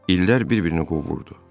İllər bir-birini qovurdu.